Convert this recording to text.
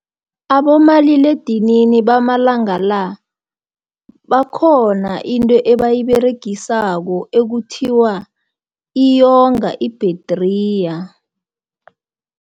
Abomaliledinini bamalanga la, bakhona into ebayiberegisako, ekuthiwa iyonga ibhethriya.